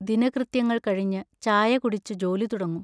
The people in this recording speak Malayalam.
ദിനകൃത്യങ്ങൾ കഴിഞ്ഞ് ചായ കുടിച്ചു ജോലി തുടങ്ങും.